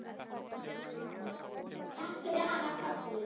Takk fyrir hana Kollu.